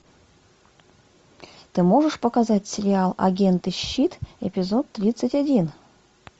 ты можешь показать сериал агенты щит эпизод тридцать один